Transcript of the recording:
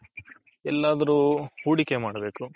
ಯೆಳದ್ರು ಹೂಡಿಕೆ ಮಾಡ್ಬೇಕು